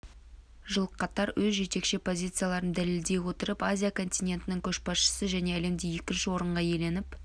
жыл қатар өз жетекші позицияларын дәлелдей отырып азия континентінің көшбасшысы және әлемде екінші орынға иеленіп